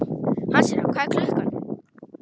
Hansína, hvað er klukkan?